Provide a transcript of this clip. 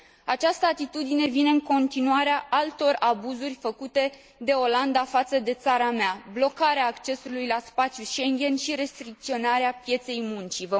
Această atitudine vine în continuarea altor abuzuri făcute de Olanda față de țara mea blocarea accesului la spațiul Schengen și restricționarea pieței muncii.